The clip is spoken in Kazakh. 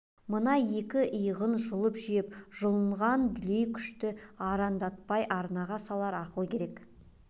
мына екі иығын жұлып жеп жұлқынған дүлей күшті арандатпай арнаға салар ақыл керек